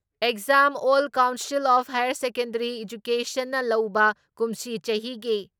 exam all council of higher secondary ꯑꯦꯖꯀꯦꯁꯟꯅ ꯂꯧꯕ ꯀꯨꯝꯁꯤ ꯆꯍꯤꯒꯤ